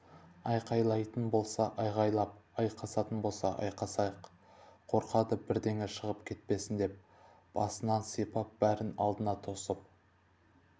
айқайлайтын болса айғайлап айқасатын болса айқасайық қорқады бірдеңе шығып кетпесін деп басынан сипап барын алдына тосып